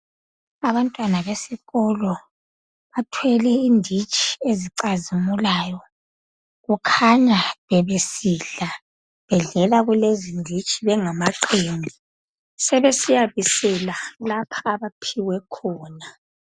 Abantwana besikolo bathwele inditshi ezicazimulayo kukhanya bebesidla bedlela kulezi zinditshi bengamachimbi sebesiya bisela lapho abaphiwe khona